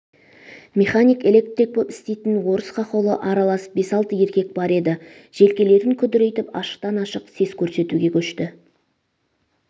механик электрик боп істейтн орыс хохолы аралас бес-алты еркек бар еді желкелерін күдірейтп ашықтан-ашық сес көрсетуге көшті